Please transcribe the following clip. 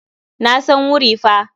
Na san wuri fa.